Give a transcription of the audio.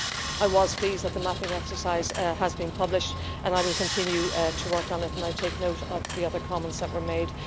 I was pleased that the mapping exercise has been published, and I will continue to work on it and I take note of the other comments that were made.